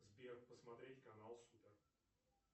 сбер посмотреть канал супер